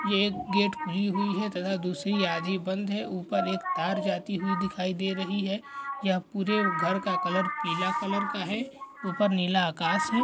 ये एक गेट खुली हुई हैं तथा दूसरी आधी बंद हैं ऊपर एक तार जाती हुई दिखाई दे रही हैं यह पूरे घर का कलर पीला कलर का हैं ऊपर नीला आकाश हैं।